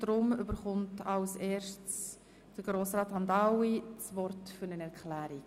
Darum erhält als erster Grossrat Hamdoaui das Wort für eine Erklärung.